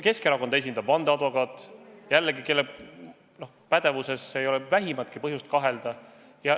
Keskerakonda esindab ka vandeadvokaat, kelle pädevuses ei ole vähimatki põhjust kahelda.